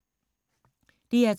DR2